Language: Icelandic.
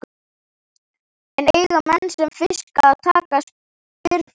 En eiga menn sem fiska að taka spyrnuna?